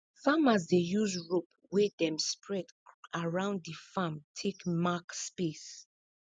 farmers dey use rope wey dem spread around di farm take mark space